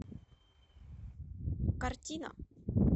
картина